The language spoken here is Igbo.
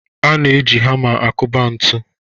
A na-eji hama akụba ntụ.